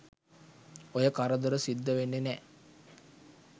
ඔය කරදර සිද්ධ වෙන්නෙ නෑ.